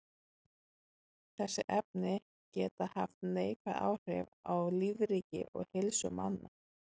Þessi efni geta haft neikvæð áhrif á lífríki og heilsu manna.